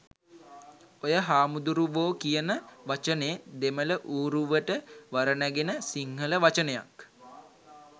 ඔය හාමුදුරුවෝ කියන වචනේ දෙමළ ඌරුවට වර නැගෙන සිංහල වචනයක්.